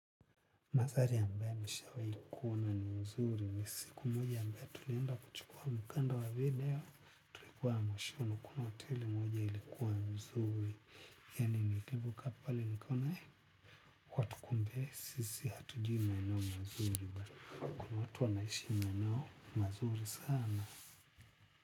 Manthari ambae nishawai kuona ni mzuri ni siku moja ambae tulienda kuchukua mkanda wa video. Kwa mwashua kuna hoteli moja ilikuwa mzuri. Yani nilipo kaa pale nikaona ya kuwa tu kumbe sisi hatujui maeneo mazuri. Kuna watu wanaishi maeneo mzuri sana.